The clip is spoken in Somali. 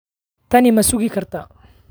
Tani ma sugi kartaa?